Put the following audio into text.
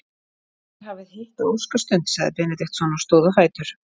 Þér hafið hitt á óskastund, sagði Benediktsson og stóð á fætur.